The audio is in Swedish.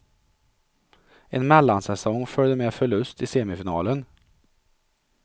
En mellansäsong följde med förlust i semifinalen.